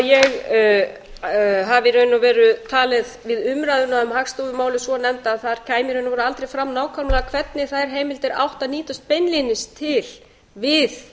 að ég hafi talið við umræðuna um hagstofumálið svonefnda að þar kæmi aldrei fram nákvæmlega hvernig þær heimildir áttu að nýtast beinlínis við